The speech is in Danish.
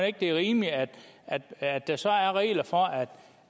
ikke det er rimeligt at at der så er regler for at